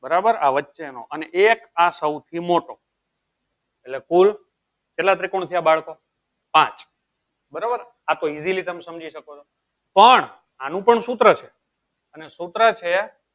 બરાબર આ વચ્ચે તો અને એક આ હવ થી મોટો એટલે કુલ કેટલા ત્રિકોણ થયા પાંચ બરોબર આ તો easily તમે સમજી શકો છો પણ આનું પણ સુત્ર છે અને સુત્ર છે